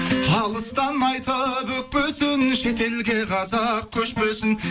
алыстан айтып өкпесін шетелге қазақ көшпесін